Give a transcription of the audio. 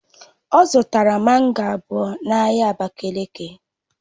Ọ zụtara mango abụọ n'ahịa abakiliki